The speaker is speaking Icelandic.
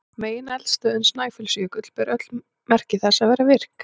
Megineldstöðin Snæfellsjökull ber öll merki þess að vera virk.